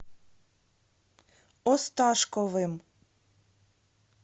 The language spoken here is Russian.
осташковым